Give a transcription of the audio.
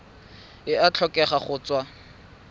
e a tlhokega go tswa